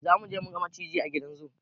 Zamuje muga maciji a gidan zu